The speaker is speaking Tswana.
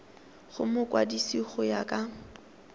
go mokwadise go ya ka